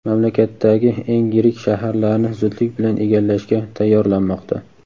mamlakatdagi eng yirik shaharlarni zudlik bilan egallashga tayyorlanmoqda.